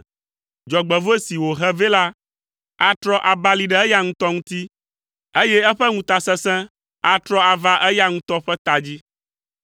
Dzɔgbevɔ̃e si wòhe vɛ la atrɔ abali ɖe eya ŋutɔ ŋuti, eye eƒe ŋutasesẽ atrɔ ava eya ŋutɔ ƒe ta dzi.